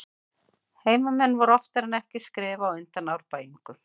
Heimamenn voru oftar en ekki skrefi á undan Árbæingum.